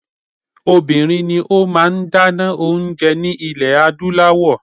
Obìnrin ni ó máa ń dáná oúnje ní ilẹ̀ Adúláwọ̀.